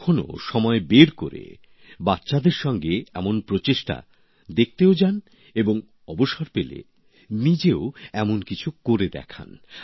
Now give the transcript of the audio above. কখনো সময় বের করে বাচ্চাদের সঙ্গে এমন প্রচেষ্টা দেখতেও যান এবং অবসর পেলে নিজেও এমন কিছু করে দেখান